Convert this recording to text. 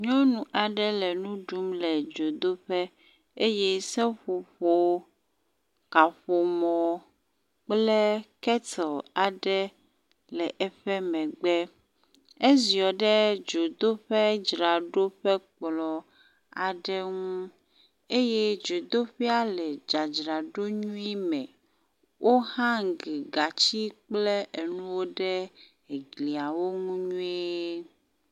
Nyɔnu aɖe le nu ɖum le dzodoƒe eye seƒoƒo kaƒome kple ketle aɖe le eƒe megbe. Edziɔ ɖe dzoɖoƒekplɔ̃ aɖe ŋu eye dzodeƒia le dzadzraɖo nyuie me. Wohangi gatsi kple enuwo ɖe glia ŋu nyuie.